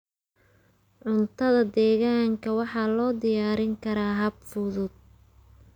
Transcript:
Cuntada deegaanka waxaa loo diyaarin karaa hab fudud.